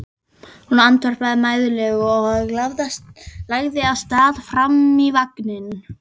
Hún andvarpaði mæðulega og lagði af stað fram í vagninn.